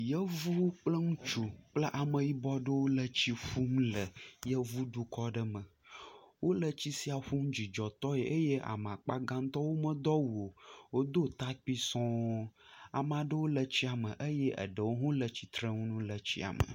Yevuwo kple ŋutsu kple ameyibɔ ɖewo le tsi ƒum le yevu dukɔ aɖe me, wole tsi sia ƒum dzidzɔtɔe eye ame akpa gãtɔ womedo awu o, wodo atakpui sɔŋ. Amea ɖewo le tsia me eye eɖewo hã wole tsitrenu le tsia me.